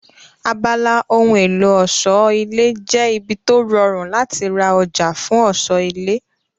Abala ohun èlò ọ̀ṣọ́ ilé jẹ́ ibi tó rọrùn láti ra ọjà fún ọ̀ṣọ́ ilé